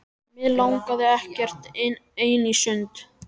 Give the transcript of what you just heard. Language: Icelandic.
En mig langaði ekkert ein í sund.